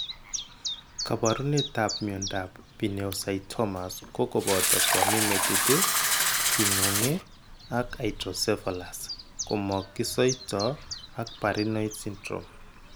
Koporunetap miondap pineocytomas kokopoto koamin metit iih kingung ii ak hydrocephalus, komogisoito ak Parinaud syndrome.